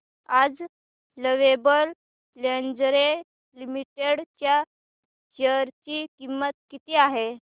आज Lovable Lingerie Limited च्या share ची किंमत किती आहे